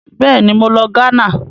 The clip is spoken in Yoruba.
Bẹ́ẹ̀ni, mo lọ Ghana.